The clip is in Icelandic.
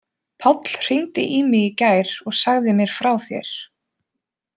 Páll hringdi í mig í gær og sagði mér frá þér.